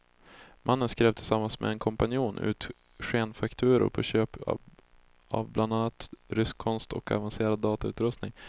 Mannen skrev tillsammans med en kompanjon ut skenfakturor på köp av bland annat rysk konst och avancerad datautrustning.